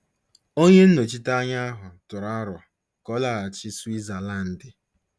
Onye nnọchite anya ahụ tụrụ aro ka ọ laghachi Switzalandi.